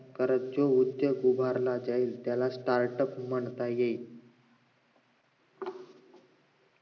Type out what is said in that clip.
घरात जो उद्दोग उभारण्यात येईल त्याला startup म्हणतात येईल